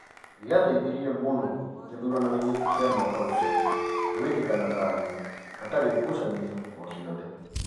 Gĩateithirie mũno gĩthuranoinĩ kĩa mũaka ũcio gũĩkĩka na thayũ hatarĩ ngucanio o-ciothe.